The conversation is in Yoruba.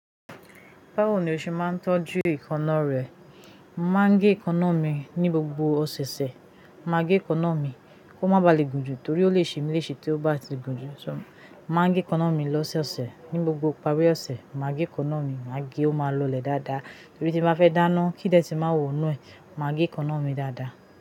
Báwo ni ẹ ṣe máa ń tọ́jú èékánná rẹ? Màá gẹ èékánná mi ní gbogbo ọ̀sẹ̀ẹ̀sẹ̀. Màá gẹ èékánná mi kí ó má ba à le gùn jù torí ó lè ṣe mí léṣe tí ó bá ti gùn jù. So, màá gẹ èékánná mi lọ́sọọsẹ̀. Ní gbogbo ìparí ọ̀sẹ̀, màá gé èékánná mi. Màá gé, ó máa lọlẹ̀ dáadáa. Torí tí bàá fẹ́ dáná, kí n idọ̀tí màá wọ inú ẹ̀, màá gé èékánná mi dáadáa.